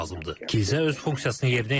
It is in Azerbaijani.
Kilsə öz funksiyasını yerinə yetirməlidir.